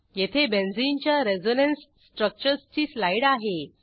येथे बेंझिनच्या रेझोनन्स स्ट्रक्चर्सची स्लाईड आहे